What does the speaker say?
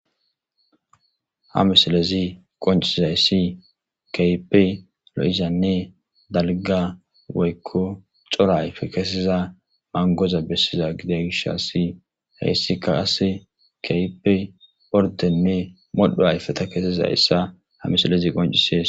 Ha misilezi qoncizayssi keypey lo'izanne dalga woykko cora ayfe keesiza mangoza bessiza gida gish asi heyssika ase keypey ordenne modho ayfeta keesizayssa ha misilezi qoncises.